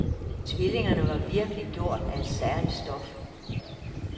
Tvillingerne var virkelig gjort af et særligt stof.